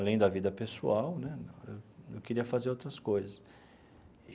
Além da vida pessoal né, eu eu queria fazer outras coisas.